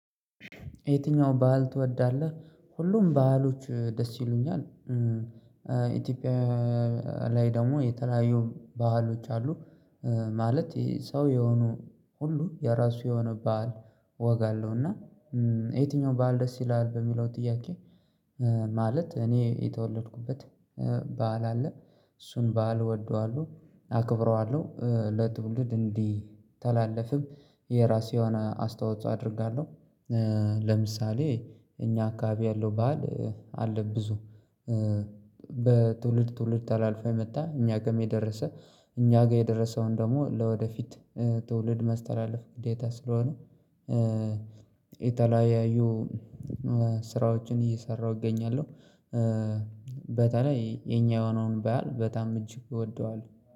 የትኛው ባህል ትወዳለህ? ሁሉም ባህሎች ደስ ይሉኛል። ኢትዮጵያ ላይ ደግሞ የተለያየ ባህሎች አሉ። ማለት ይሄ ሰው የሆኑ ሁሉ የራሱ የሆነ በዓል ወግ አለው። እና የትኛው በዓል ደስ ይላል በሚለው ጥያቄ? ማለት እኔ የተወለድኩበት በዓል አለ እሱን በዓል እወደዋለሁ አክብረዋለሁ ለትውልድ እንዲተላለፍም የራሴውን አስተዋጽኦ አደርጋለሁ። ለምሳሌ እኛ አካባቢ ያለው ባል አለ። ብዙ በትውልድ ትውልድ ታላልፋ መጥታ እኛ ጋር የደረሰ እኛ ጋር የደረሰውን ደግሞ ለወደፊት ትውልድ መስተላለፍ ግዴታ ስለሆነ። የተለያዩ ስራዎችን እየሰራሁ እገኛለሁ። በተለይ የኛ የሆነውን ባሀል በጣም እጅግ እወደዋለሁ